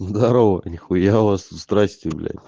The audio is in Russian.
здорова нихуя у вас тут страсти блять